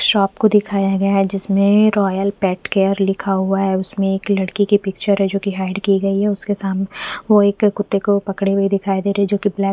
shop को दिखाया गया है जिसमे रॉयल पेट केयर लिखा हुआ है उसमे एक लड़की की पिक्चर है जो की हाईड की गयी है उसके सामने वो एक कुत्ते को पकडे हुए दिखाई दे रहे है जो की ब्लैक --